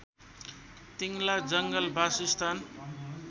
तिङ्ला जङ्गल बासस्थान